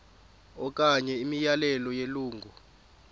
okanye imiyalelo yelungu